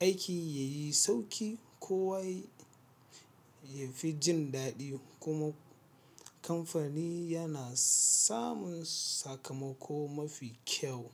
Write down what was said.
aiki ya yi sauƙi, kowa ya fi jin daɗi, kuma kamfani yana samun sakamako mafi kyau.